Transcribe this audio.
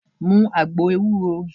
Mu agbo ewúro!